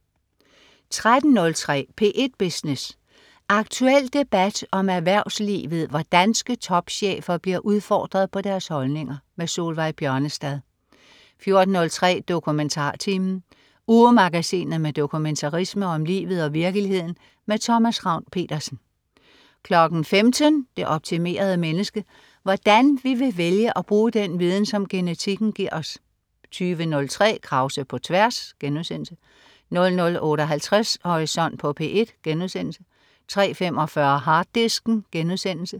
13.03 P1 Business. Aktuel debat om erhvervslivet, hvor danske topchefer bliver udfordret på deres holdninger. Solveig Bjørnestad 14.03 DokumentarTimen. Ugemagasinet med dokumentarisme om livet og virkeligheden. Thomas Ravn-Pedersen 15.00 Det optimerede menneske. Hvordan vi vil vælge at bruge den viden, som genetikken giver os 20.03 Krause på tværs* 00.58 Horisont på P1* 03.45 Harddisken*